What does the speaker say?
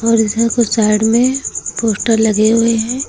और इधर को साइड में पोस्टर लगे हुए हैं।